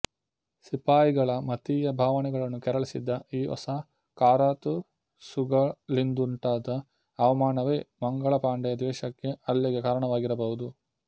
ಸಿಪಾಯಿಗಳ ಮತೀಯ ಭಾವನೆಗಳನ್ನು ಕೆರಳಿಸಿದ ಈ ಹೊಸ ಕಾರತೂಸುಗಳಿಂದುಂಟಾದ ಅವಮಾನವೇ ಮಂಗಳ ಪಾಂಡೆಯ ದ್ವೇಷಕ್ಕೆ ಹಲ್ಲೆಗೆ ಕಾರಣವಾಗಿರಬಹುದು